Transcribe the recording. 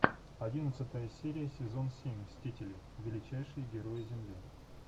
одиннадцатая серия сезон семь мстители величайшие герои земли